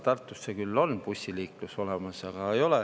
Tartusse küll on bussiliiklus olemas.